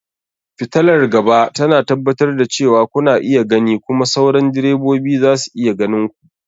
Fitalar gaba tana tabbatar da cewa kuna iya gani kuma sauran direbobi za su iya ganin ku.